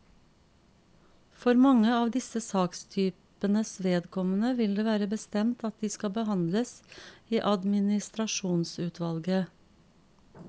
For mange av disse sakstypenes vedkommende vil det være bestemt at de skal behandles i administrasjonsutvalget.